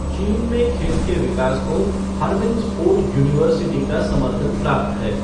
चीन में खेल के विकास को हार्बिन स्पोर्ट यूनिवर्सिटी का समर्थन प्राप्त है।